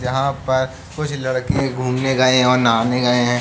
यहां पर कुछ लड़के घूमने गए और नहाने गए हैं।